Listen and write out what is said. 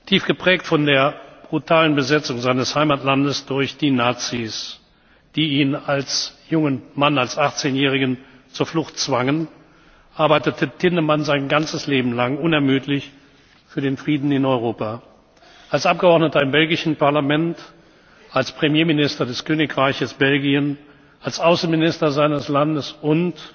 Tief geprägt von der brutalen Besetzung seines Heimatlandes durch die Nazis, die ihn als jungen Mann, als Achtzehnjährigen, zur Flucht zwangen, arbeitete Tindemans sein ganzes Leben lang unermüdlich für den Frieden in Europa als Abgeordneter im belgischen Parlament, als Premierminister des Königreichs Belgien, als Außenminister seines Landes